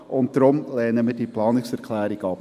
Deswegen lehnen wir die Planungserklärung ab.